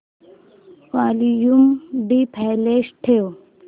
volume default ठेव